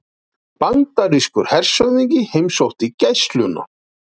Bandarískur hershöfðingi heimsótti Gæsluna